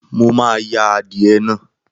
Mo máa ya adìẹ naa.